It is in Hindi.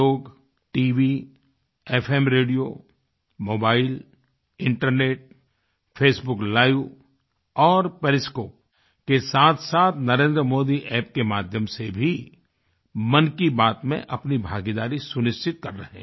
लोग TV FM radio mobile internet Facebook live औरperiscope के साथसाथ NarendraModiApp के माध्यम से भी मन की बात में अपनी भागीदारी सुनिश्चित कर रहे हैं